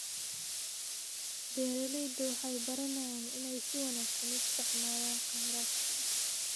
Beeraleydu waxay baranayaan inay si wanaagsan u isticmaalaan kheyraadka.